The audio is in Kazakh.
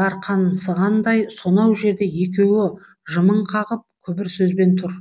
дарқансығандай сонау жерде екеуі жымың қағып күбір сөзбен тұр